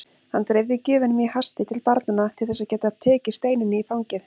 Hann dreifði gjöfunum í hasti til barnanna til þess að geta tekið Steinunni í fangið.